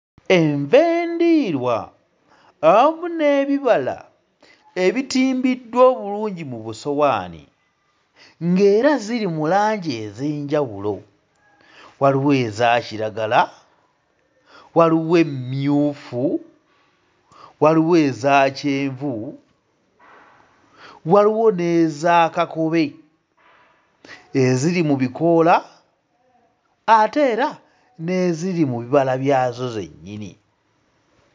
Enva endiirwa awamu n'ebibala ebitimbiddwa obulungi mu busowaanio ng'era ziri mu langi ez'enjawulo, waliwo ezakiragala waliwo emmyufu, waliwo ezakyenvu; waliwo n'eza kakobe eziri mu bikoola ate era n'eziri mu bibala byazo byennyini.